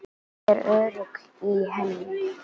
Ég er örugg í henni.